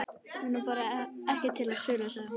Hún er bara ekki til sölu, sagði hún.